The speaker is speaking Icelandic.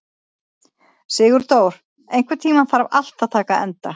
Sigurdór, einhvern tímann þarf allt að taka enda.